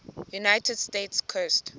united states coast